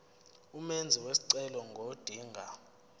umenzi wesicelo ngodinga